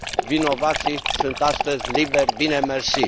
vinovații sunt astăzi liberi bine mersi.